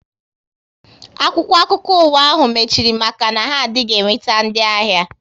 Akwụkwọ akụkọ ụwa ahu mechiri maka na ha adịghị enweta ndị ahịa